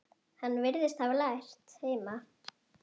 Hann virðist hafa lært heima.